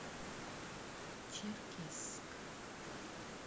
черкесск